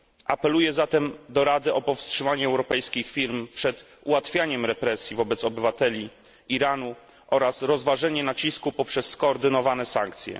Apeluję zatem do Rady o powstrzymanie europejskich firm przed ułatwianiem represji wobec obywateli Iranu oraz rozważenie nacisku poprzez skoordynowane sankcje.